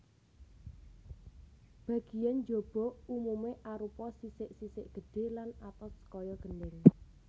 Bagéan njaba umumé arupa sisik sisik gedhé lan atos kaya gendhèng